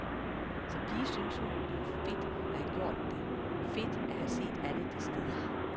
Som pige synes hun, det var fedt at have gjort det, fedt at have set alle de steder.